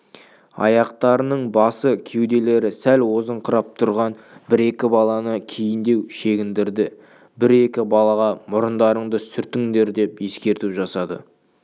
аяқтарының басы кеуделері сәл озыңқырап тұрған бір-екі баланы кейіндеу шегіндірді бір-екі балаға мұрындарыңды сүртіңдер деп ескерту жасады